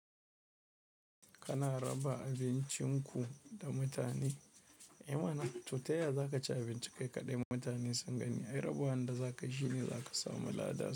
Kana raba abincinku da mutane? Eh mana to taya zakaci abinci kai kaɗai mutane sun gani. Ai rabawanda zakayi, shine zaka samu lada.